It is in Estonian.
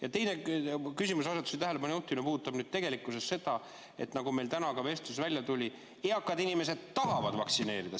Ja teine küsimuseasetus või tähelepanu juhtimine puudutab seda, et nagu meil täna ka vestluses välja tuli, et eakad inimesed tahavad vaktsineerida.